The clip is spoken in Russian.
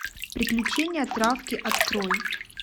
приключения травки открой